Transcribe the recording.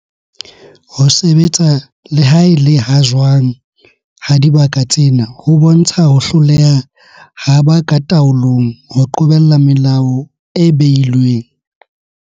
Ho sebetsa le ha e le ha jwang ha dibaka tsena ho bontsha ho hloleha ha ba ka taolong ho qobella melao e behilweng.